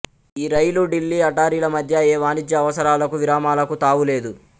ఈ రైలు ఢిల్లీ అటారీల మధ్య ఏ వాణిజ్య అవసరాలకు విరామాలకు తావు లేదు